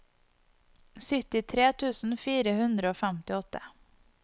syttitre tusen fire hundre og femtiåtte